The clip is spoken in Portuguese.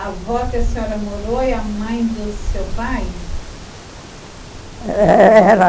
A avó que a senhora morou é a mãe do seu pai? Era...